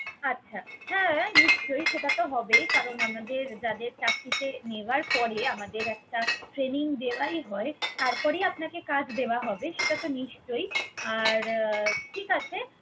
আচ্ছা, হ্যা নিশ্চয়ই! সেটা তো হবেই। কারণ আমাদের যাদের চাকরিতে নেওয়ার পরে আমাদের একটা training দেওয়াই হয়, তারপরেই আপনাকে কাজ দেওয়া হবে। সেটা তো নিশ্চয়ই! আর ঠিক আছে